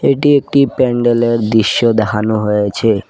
এটি একটি প্যান্ডেলের দৃশ্য দেখানো হয়েছে।